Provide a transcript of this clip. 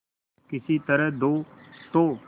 किसी तरह दो तो